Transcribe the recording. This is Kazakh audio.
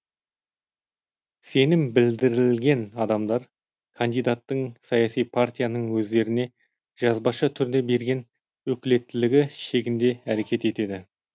сенім білдірілген адамдар кандидаттың саяси партияның өздеріне жазбаша түрде берген өкілеттілігі шегінде әрекет етеді